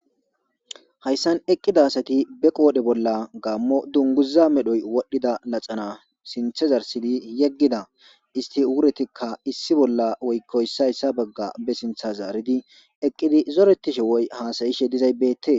Hayssan eqqida asati be qodhdhe bolla gammo dungguza medhdhoy wodhida laxxana sinththa zarssidi yeggida issti ugguretika issi bolla woykko issay issa bagga be sintha zariddi eqqidi zoretishe woy hasa7ishe dizzay bettes.